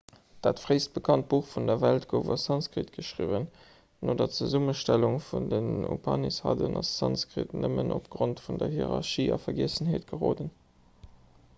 dat fréist bekannt buch vun der welt gouf a sanskrit geschriwwen no der zesummestellung vun den upanishaden ass sanskrit nëmmen opgrond vun der hierarchie a vergiessenheet geroden